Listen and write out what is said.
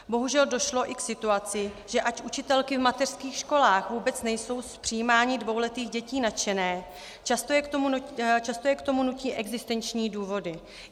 Bohužel došlo i k situaci, že ač učitelky v mateřských školách vůbec nejsou z přijímání dvouletých dětí nadšené, často je k tomu nutí existenční důvody.